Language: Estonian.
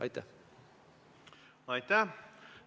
Aitäh!